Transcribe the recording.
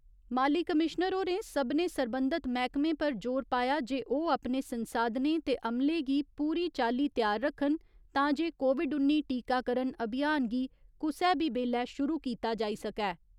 माली कमिश्नर होरें सभनें सरबंधत मैह्कमें पर जोर पाया जे ओह् अपने संसाधनें ते अमले गी पूरी चाल्ली त्यार रक्खन तांजे कोविड उन्नी टीकाकरण अभियान गी कुसै बी बेल्लै शुरु कीता जाई सकै।